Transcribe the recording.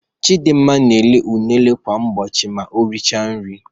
Chidinma na-eri unere kwa ụbọchị ma o richara nri.